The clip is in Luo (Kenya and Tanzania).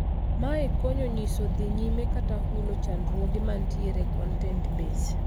Mae konyo nyiso dhii nyime kata hulo chandruoge mantiere e contet base.